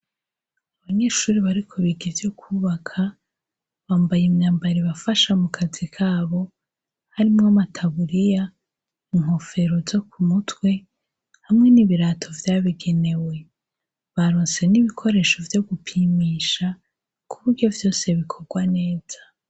Abanyeshuri bariko biga ivyo kwubaka bambaye imyambara bafasha mu kazi kabo harimwo bamataburiya inkofero zo ku mutwe hamwe n'ibirato vyabigenewe barose n'ibikoresho vyo gupimisha ku buryo vyose bikorwa neza.